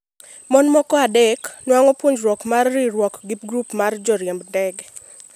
mon moko adek nuang'o puonj mar riwruok gi grup mar jo riemb ndege